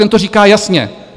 Ten to říká jasně.